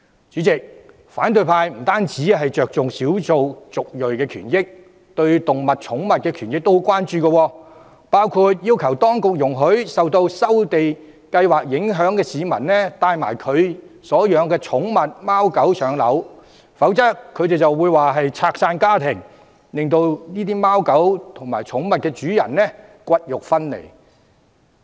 主席，反對派不單着重少數族裔的權益，他們對於動物及寵物的權益也很關注，包括要求當局容許受收地計劃影響的市民，帶同他們所飼養的貓狗寵物遷往新居，否則便被批評為折散家庭，令這些貓狗寵物與主人骨肉分離。